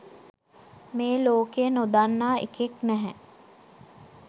මේලෝකේ නොදන්නා එකෙක් නැහැ